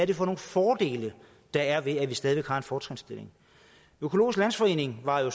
det for nogle fordele der er ved det stadig væk har en fortrinsstilling økologisk landsforening var jo